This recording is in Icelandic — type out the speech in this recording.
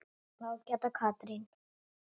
Ágæta Katrín.